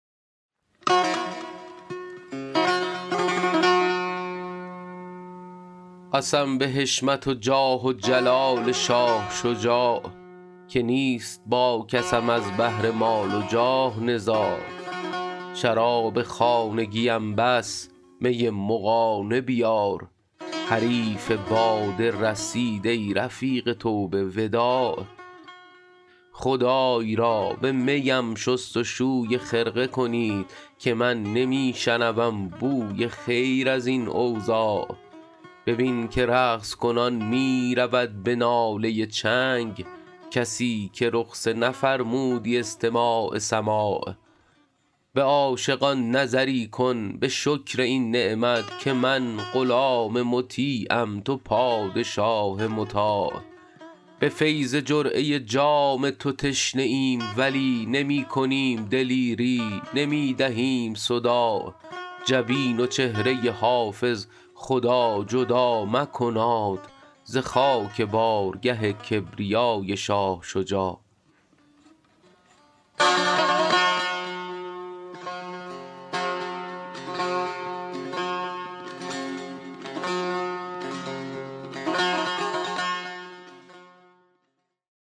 قسم به حشمت و جاه و جلال شاه شجاع که نیست با کسم از بهر مال و جاه نزاع شراب خانگیم بس می مغانه بیار حریف باده رسید ای رفیق توبه وداع خدای را به می ام شست و شوی خرقه کنید که من نمی شنوم بوی خیر از این اوضاع ببین که رقص کنان می رود به ناله چنگ کسی که رخصه نفرمودی استماع سماع به عاشقان نظری کن به شکر این نعمت که من غلام مطیعم تو پادشاه مطاع به فیض جرعه جام تو تشنه ایم ولی نمی کنیم دلیری نمی دهیم صداع جبین و چهره حافظ خدا جدا مکناد ز خاک بارگه کبریای شاه شجاع